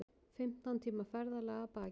Fimmtán tíma ferðalag að baki